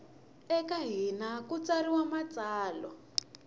eka hina ku tsariwa matsalwa